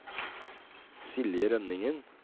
Silje Rønningen